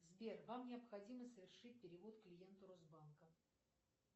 сбер вам необходимо совершить перевод клиенту росбанка